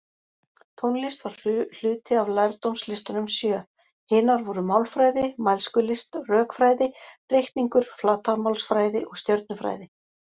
Tónlist var hluti af lærdómslistunum sjö, hinar voru málfræði, mælskulist, rökfræði, reikningur, flatarmálsfræði og stjörnufræði.